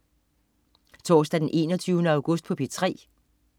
Torsdag den 21. august - P3: